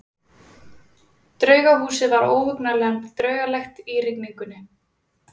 Draugahúsið var óhugnanlega draugalegt í rigningunni.